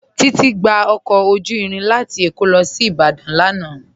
Titi gbà ọkọ ojú irin lati Ékó sí Ìbàdàn lánà.